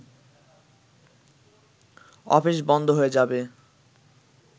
office বন্ধ হয়ে যাবে